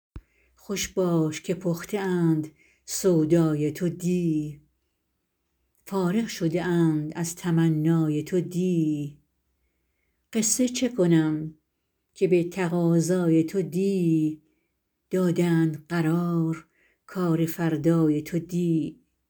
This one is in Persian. خوش باش که پخته اند سودای تو دی فارغ شده اند از تمنای تو دی قصه چه کنم که به تقاضای تو دی دادند قرار کار فردای تو دی